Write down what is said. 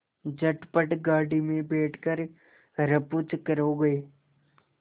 झटपट गाड़ी में बैठ कर ऱफूचक्कर हो गए